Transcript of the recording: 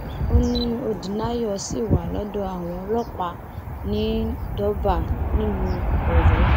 ó ní odnayo ṣì wà lọdọ àwọn ọlọpàá ní durbar nílùú ọyọ